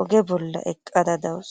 oge bolla eqqada dawus.